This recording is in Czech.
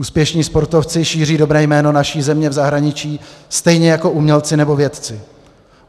Úspěšní sportovci šíří dobré jméno naší země v zahraničí, stejně jako umělci nebo vědci.